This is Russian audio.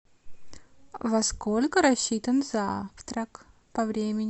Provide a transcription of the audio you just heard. во сколько рассчитан завтрак по времени